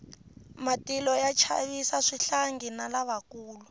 matilo ya chavisa swihlangi na lavakulu